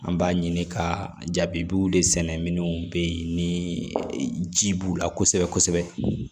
An b'a ɲini ka jabiw de sɛnɛ minɛnw be yen ni ji b'u la kosɛbɛ kosɛbɛ